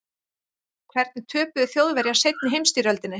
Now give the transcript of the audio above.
hvernig töpuðu þjóðverjar seinni heimsstyrjöldinni